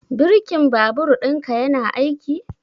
Birkin babur ɗinka yana aiki?